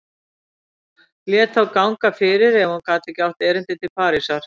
Lét þá ganga fyrir ef hún gat átt erindi til Parísar.